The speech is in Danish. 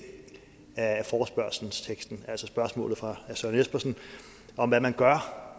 der spørges om i forespørgselsteksten altså spørgsmålet fra herre søren espersen om hvad man gør